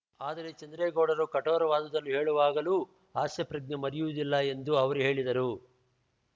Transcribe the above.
ಆದರೆ ಚಂದ್ರೇಗೌಡರು ಕಠೋರವಾದುದನ್ನು ಹೇಳುವಾಗಲೂ ಹಾಸ್ಯಪ್ರಜ್ಞೆ ಮರೆಯುವುದಿಲ್ಲ ಎಂದು ಅವರು ಹೇಳಿದರು